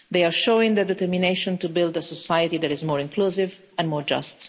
They are showing their determination to build a society that is more inclusive and more just.